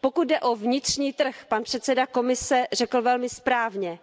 Pokud jde o vnitřní trh, pan předseda Komise řekl velmi správně